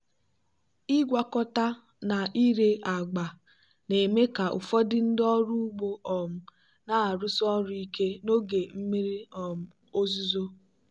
ịgwakọta na ire agba na-eme ka ụfọdụ ndị ọrụ ugbo um na-arụsi ọrụ ike n'oge mmiri um ozuzo.